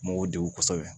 Mɔgɔw degun kosɛbɛ